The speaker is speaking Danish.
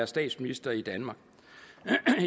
statsminister i danmark